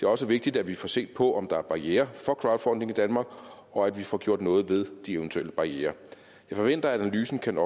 også vigtigt at vi får set på om der er barrierer for crowdfunding i danmark og at vi får gjort noget ved de eventuelle barrierer jeg forventer at analysen kan